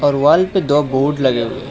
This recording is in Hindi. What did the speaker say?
और वॉल पे दो बोर्ड लगे हुए--